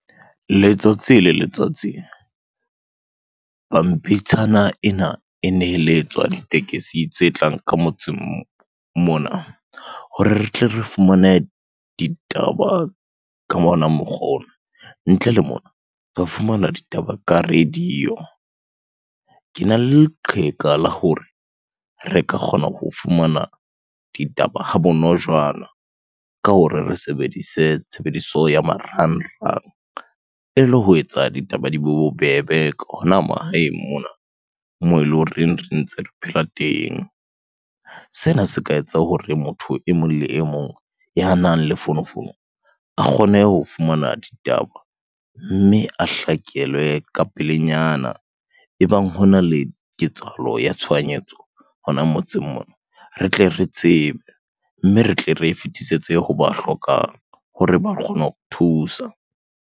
Letsatsi le letsatsi, pampitshana ena e neheletswa ditekesi tse tlang ka motseng mona hore re tle re fumane ditaba ka mona mokgwa ona. Ntle le mona, re fumana ditaba ka radio. Kena le leqheka la hore re ka kgona ho fumana ditaba ha bonojana ka hore re sebedise tshebediso ya marangrang ele ho etsa ditaba di bo bobebe ka hona mahaeng mona, moo eleng horeng re ntse re phela teng. Sena se ka etsa hore motho e mong le e mong ya nang le fonofono, a kgone ho fumana ditaba mme a hlakelwe ka pelenyana. Ebang hona le ketsahalo ya tshohanyetso hona motseng mona, re tle re tsebe. Mme re tle re e fetisetse hoba hlokang hore ba kgone ho thusa.